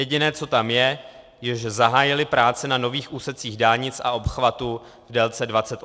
Jediné, co tam je, je, že zahájili práce na nových úsecích dálnic a obchvatů v délce 28 kilometrů.